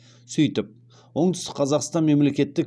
сөйтіп оңтүстік қазақстан мемлекеттік